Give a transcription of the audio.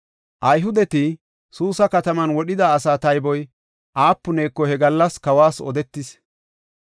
Ayhudeti Suusa kataman wodhida asaa tayboy aapuneko he gallas kawas odetis.